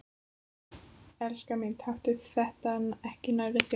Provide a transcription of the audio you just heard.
Elskan mín, taktu þetta ekki nærri þér.